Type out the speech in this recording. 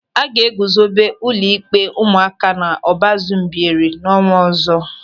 A ga-eguzobe ụlọ ịkpe ụmụaka n'Ọbazu Mbieri n'ọnwa ọzọ.